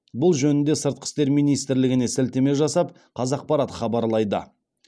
бұл жөнінде сыртқы істер министрлігіне сілтеме жасап қазақпарат хабарлайды